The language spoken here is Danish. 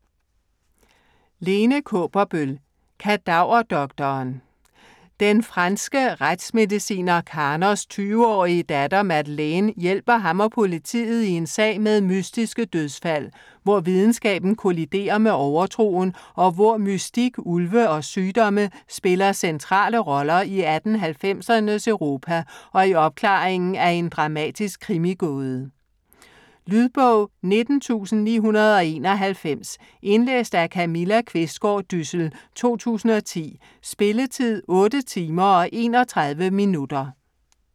Kaaberbøl, Lene: Kadaverdoktoren Den franske retsmediciner Karnos 20-årige datter, Madeleine, hjælper ham og politiet i en sag med mystiske dødsfald, hvor videnskaben kolliderer med overtroen, og hvor mystik, ulve og sygdomme spiller centrale roller i 1890'ernes Europa og i opklaringen af en dramatisk krimigåde. Lydbog 19991 Indlæst af Camilla Qvistgaard Dyssel, 2010. Spilletid: 8 timer, 31 minutter.